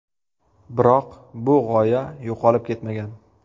Biroq, bu g‘oya yo‘qolib ketmagan.